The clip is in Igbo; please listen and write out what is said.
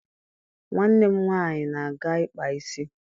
Nwanne m nwaanyị na-aga ịkpa isi